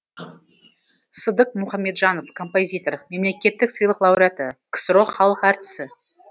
сыдық мұхамеджанов композитор мемлекеттік сыйлық лауреаты ксро халық әртісі